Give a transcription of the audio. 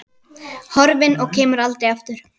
Horfin og kemur aldrei aftur.